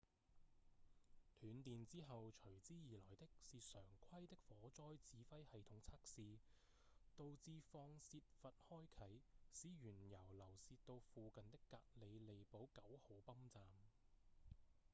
斷電之後隨之而來的是常規的火災指揮系統測試導致放洩閥開啟使原油流洩到附近的格里利堡9號泵站